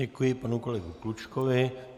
Děkuji panu kolegovi Klučkovi.